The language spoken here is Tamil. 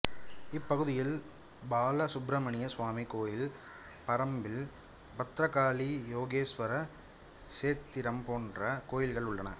இப்பகுதியில் பால சுப்பிரமணிய சுவாமி கோயில் பரம்பில் பத்ரகாளி யோகேஸ்வர சேத்திரம் போன்ற கோயில்கள் உள்ளன